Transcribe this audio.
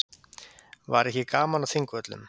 Var ekki gaman á Þingvöllum?